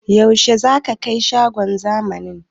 Yaushe zaka kai mu shagon zamani?